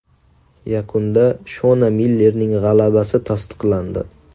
Yakunda Shona Millerning g‘alabasi tasdiqlandi.